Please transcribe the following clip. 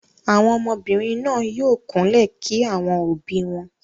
Àwọn ọmọbìnrin náà yóò kúnlẹ̀ kí àwọn òbí wọn.